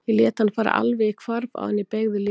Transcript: Ég lét hann fara alveg í hvarf áður en ég beygði líka.